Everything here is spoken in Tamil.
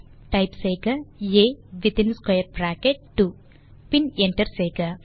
டைப் செய்க ஆ வித்தின் ஸ்க்வேர் பிராக்கெட் பின் என்டர் செய்க